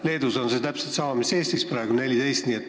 Leedus on see täpselt sama mis Eestis praegu: 14 aastat.